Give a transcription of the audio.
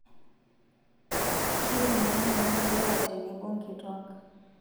Keibung ina moyian lewa tenebo nkituak.